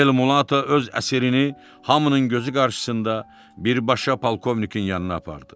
Elmulato öz əsirini hamının gözü qarşısında birbaşa polkovnikin yanına apardı.